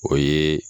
O ye